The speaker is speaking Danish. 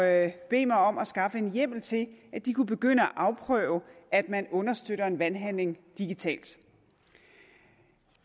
at bede mig om at skaffe en hjemmel til at de kunne begynde at afprøve at man understøtter en valghandling digitalt